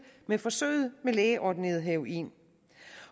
med forsøget med lægeordineret heroin